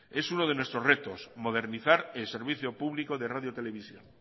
es uno de nuestros retos modernizar el servicio público de radio televisión